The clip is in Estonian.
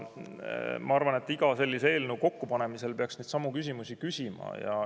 Ma arvan, et iga sellise eelnõu kokkupanemisel peaks esitama neidsamu küsimusi.